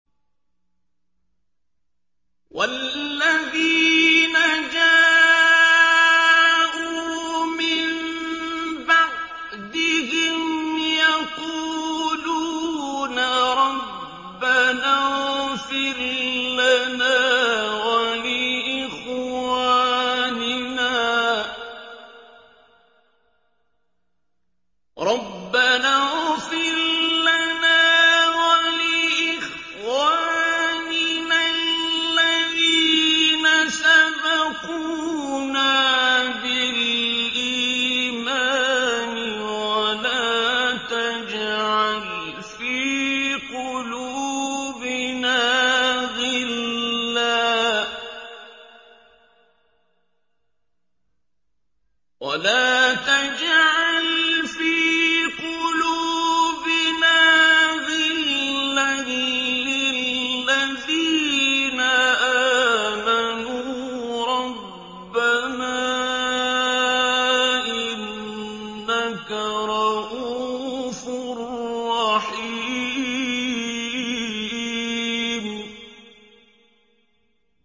وَالَّذِينَ جَاءُوا مِن بَعْدِهِمْ يَقُولُونَ رَبَّنَا اغْفِرْ لَنَا وَلِإِخْوَانِنَا الَّذِينَ سَبَقُونَا بِالْإِيمَانِ وَلَا تَجْعَلْ فِي قُلُوبِنَا غِلًّا لِّلَّذِينَ آمَنُوا رَبَّنَا إِنَّكَ رَءُوفٌ رَّحِيمٌ